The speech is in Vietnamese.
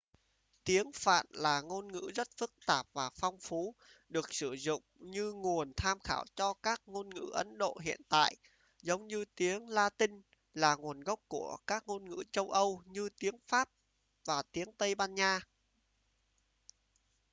tiếng phạn là ngôn ngữ rất phức tạp và phong phú được sử dụng như nguồn tham khảo cho các ngôn ngữ ấn độ hiện đại giống như tiếng latinh là nguồn gốc của các ngôn ngữ châu âu như tiếng pháp và tiếng tây ban nha